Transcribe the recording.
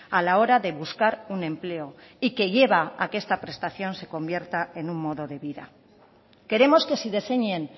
a la hora de buscar un empleo y que lleva a que esta prestación se convierta en un modo de vida queremos que se diseñen